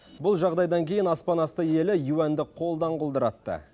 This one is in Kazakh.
бұл жағдайдан кейін аспанасты елі юаньді қолдан құлдыратты